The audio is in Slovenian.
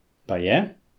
Pa je?